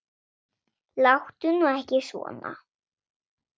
Láttu nú ekki svona